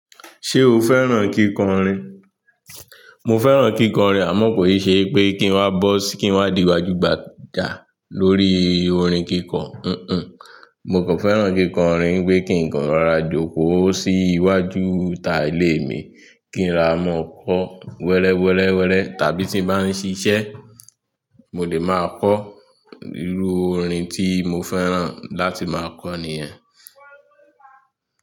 Ṣé o fẹ́ràn kíkọrin? Mo fẹ́ràn kíkọrin àmọ́ kò ì ṣe pé kí ń wá bọ́, kí ń wá di gbaju gbàjà lórí orin kíkọ. Mo kàn fẹ́ràn kíkọrin pé kí ń kọ́ rora jòkó sí iwájú ta ìlé mi, kí n ra mọ́ kọ wẹrẹ́, wẹrẹ́, wẹrẹ́ tàbí tí n bá ń ṣiṣẹ́, mo lè máa kọ irú orin tí mo fẹ́ràn láti máa kọ nìyẹn.